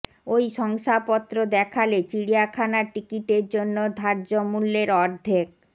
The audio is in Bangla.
ওই শংসাপত্র দেখালে চিড়িয়াখানার টিকিটের জন্য ধার্য মূল্যের অর্ধেক